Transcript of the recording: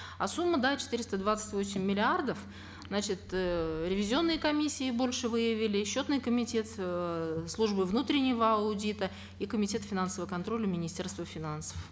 а сумма да четыреста двадцать восемь миллиардов значит э ревизионной комиссией больше выявили счетный комитет э службы внутреннего аудита и комитет финансового контроля министерства финансов